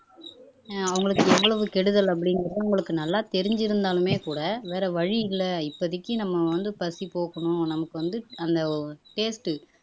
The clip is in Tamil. அஹ் அவங்களுக்கு எவ்வளவு கெடுதல் அப்படிங்கறது அவங்களுக்கு நல்லா தெரிஞ்சிருந்தாலுமே கூட வேற வழி இல்லை இப்போதைக்கு நம்ம வந்து பசி போக்கணும் நமக்கு வந்து அந்த ஒரு taste